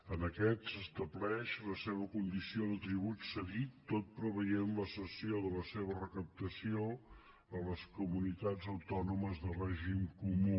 en aquest s’estableix la seva condició de tribut cedit tot preveient la cessió de la seva recaptació a les comunitats autònomes de règim comú